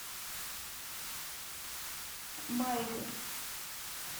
майли